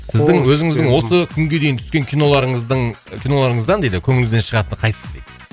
сіздің өзіңіздің осы күнге дейінгі түскен киноларыңыздың киноларыңыздан дейді көңіліңізден шығатыны қайсысы дейді